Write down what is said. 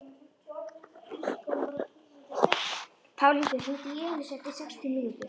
Pálhildur, hringdu í Elísu eftir sextíu mínútur.